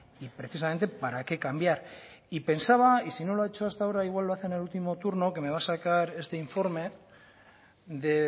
y precisamente para qué cambiar y pensaba y si no lo ha hecho hasta ahora igual lo hace en el último turno que me va a sacar este informe de